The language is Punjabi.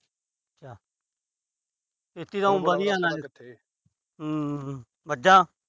ਖੇਤੀ ਤਾਂ ਹੂੰ। ਮੱਝਾਂ।